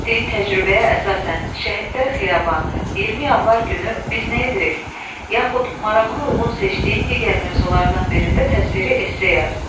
Əldə etdiyin təcrübəyə əsasən, Şəhidlər Xiyabanı, 20 Yanvar günü biz nə edirik, yaxud marağına uyğun seçdiyin digər mövzulardan birində təsviri esse yaz.